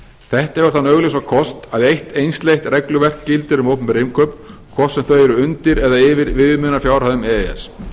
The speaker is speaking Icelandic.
þetta hefur þann augljósa kost að eitt einsleitt regluverk gildir um opinber innkaup hvort sem þau eru undir eða yfir viðmiðunarfjárhæðum e e s